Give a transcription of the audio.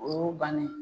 O y'o bannen ye